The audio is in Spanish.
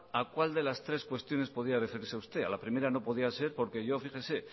a cual de las tres cuestiones podría referirse usted a la primera no podía ser porque yo fíjese